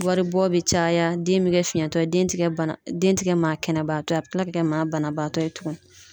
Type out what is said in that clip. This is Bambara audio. Waribɔ bɛ caya den bɛ kɛ fiyɛntɔ ye den ba den tɛ kɛ maa kɛnɛba to ye a bɛ tila ka kɛ maa banabaatɔ ye tuguni.